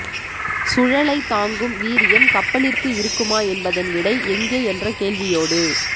சுழலைத் தாங்கும் வீரியம் கப்பலிற்கு இருக்குமா என்பதன் விடை எங்கே என்ற கேள்வியோடு